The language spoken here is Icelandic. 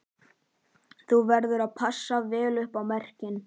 Þú verður að passa vel upp á merkin